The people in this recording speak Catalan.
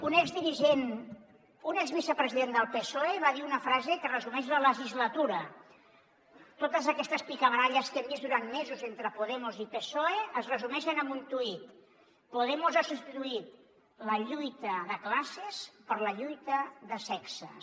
un exdirigent un exvicepresident del psoe va dir una frase que resumeix la legislatura totes aquestes picabaralles que hem vist durant mesos entre podemos i psoe es resumeixen en un tuit podemos ha substituït la lluita de classes per la lluita de sexes